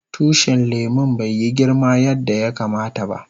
Tushin lemun bai yi girma yanda yakama ta ba.